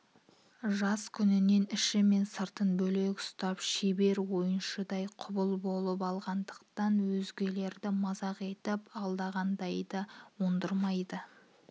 жас күннен іші мен сыртын бөлек үстап шебер ойыншыдай құбыл болып алғандықтан өзгелерді мазақ етіп алдағанда да ондырмай